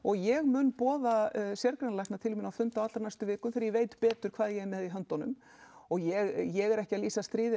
ég mun boða sérgreinalækna til mín á fund á allra næstu vikum þegar ég veit betur hvað ég er með í höndunum og ég er ekki að lýsa stríði